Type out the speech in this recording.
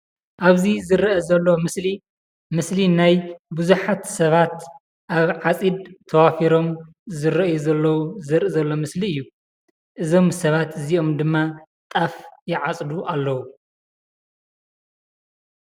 ኣብዚ ዝርአ ዘሎ ምስሊ ምስሊ ናይ ቡዙሓት ሰባት ኣብ ዓፂድ ተዋፊሮም ዝርኣዩ ዘለዉ ዘርኢ ዘሎ ምስሊ እዩ። እዞም ሰባት እዚኦም ድማ ጣፍ ይዓፅዱ ኣለዉ።